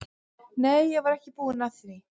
Nei, ég var ekki búin að því.